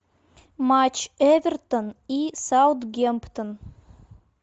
матч эвертон и саутгемптон